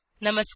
नमस्कार